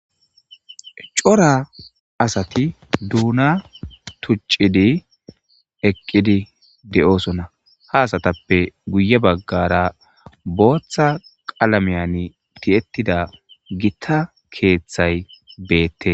Cora asati duuna tuccidi eqqidi de'oosona ha asatappe guye baggara booththa qalamiyan ti'ettid gita keeththay beette.